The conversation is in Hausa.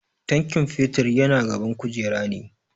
Tankin fetur yana gaban kujera ne.